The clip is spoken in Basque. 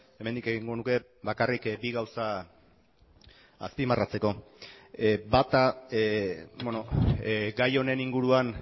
hemendik egingo nuke bakarrik bi gauza azpimarratzeko bata gai honen inguruan